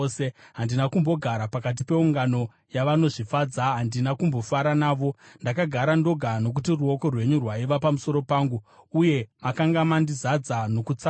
Handina kumbogara pakati peungano yavanozvifadza, handina kumbofara navo; ndakagara ndoga nokuti ruoko rwenyu rwaiva pamusoro pangu, uye makanga mandizadza nokutsamwa.